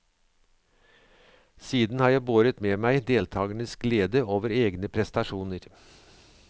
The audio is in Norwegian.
Siden har jeg båret med meg deltagernes glede over egne prestasjoner.